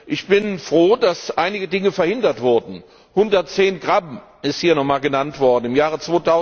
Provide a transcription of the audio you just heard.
Ich bin froh, dass einige Dinge verhindert wurden. 110 g ist hier noch einmal genannt worden im Jahre